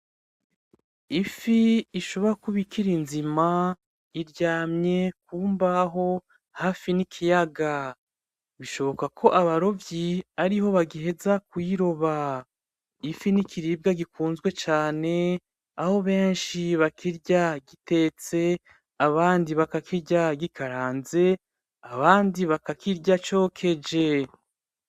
Ifi ishobora kuba ikiri nzima iryamye ku mbaho hafi n'ikiyaga, bishoboka ko abarovyi ariho bagiheza kuyiroba, ifi n'ikiribwa gikunzwe cane aho benshi bakirya gitetse; abandi bakakirya gikaranze; abandi bakakirya cokeje.